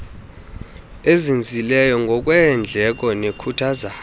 ezinzileyo ngokweendleko nekhuthaza